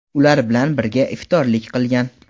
ular bilan birga iftorlik qilgan.